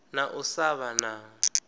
na u sa vha na